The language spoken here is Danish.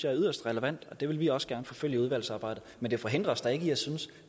er yderst relevant det vil vi også gerne forfølge i udvalgsarbejdet men det forhindrer os da ikke i at synes